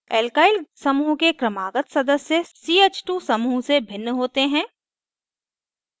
alkyl समूह के क्रमागत सदस्य ch2 समूह से भिन्न होते हैं